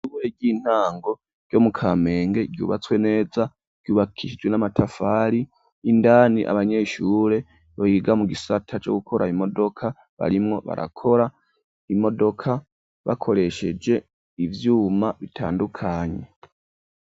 Ishure ry'intango ryo mu kamenge ryubatswe neza ryubakishijwe n'amatafari indani abanyeshure biga mu gisata co gukora imodoka barimwo barakora imodoka bakoresheje ivyuma bitandukanye.